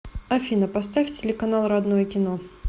афина поставь телеканал родное кино